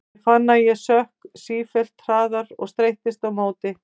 Ég fann að ég sökk sífellt hraðar og streittist á móti.